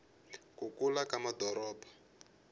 ku kula ka madoropo